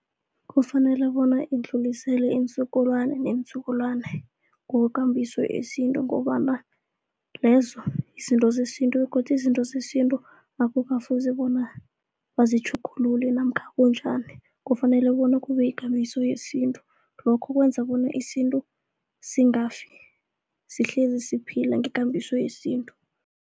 Kufanele bona idluliselwe iinzukulwani neenzukulwani ngokwekambiso yesinto ngobana lezo izinto zesintu begodu izinto zesintu akukafuzi bona bazitjhugulule namkha bunjani kufanele bona kube ikambiso yesintu, lokho kwenza bona isintu singafi sihlezi siphila ngekambiso yesintu.